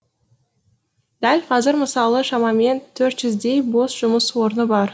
дәл қазір мысалы шамамен төрт жүздей бос жұмыс орны бар